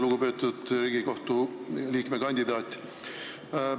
Lugupeetud Riigikohtu liikme kandidaat!